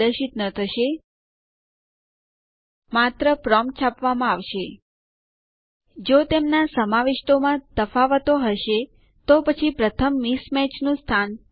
મેં પહેલેથી જ મારી હોમ ડિરેક્ટરીમાં અમુક ટેક્સ્ટ ફાઈલો આદેશો રન કરવા માટે બનાવી છે